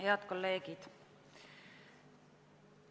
Head kolleegid!